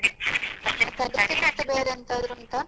ಬೇರೆಂತದ್ರು ಉಂಟಾ?